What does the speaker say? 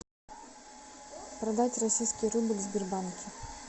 продать российский рубль в сбербанке